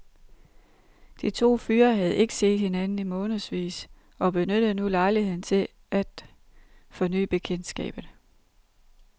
De to fyre havde ikke set hinanden i månedsvis og benyttede nu lejligheden til at forny bekendtskabet.